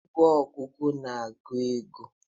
Igwe ogugu na-agụ ego.